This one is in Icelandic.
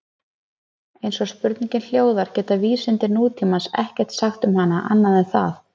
Eins og spurningin hljóðar geta vísindi nútímans ekkert sagt um hana annað en það.